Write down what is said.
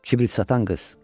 Kibrit satan qız.